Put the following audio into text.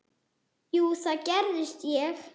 Jú, það gerði ég.